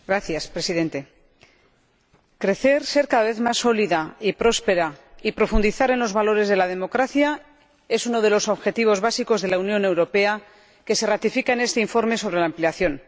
Señor Presidente, crecer, ser cada vez más sólida y próspera, y profundizar en los valores de la democracia, es uno de los objetivos básicos de la Unión Europea, que se ratifica en este informe sobre la ampliación.